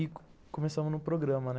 E começamos no programa, né?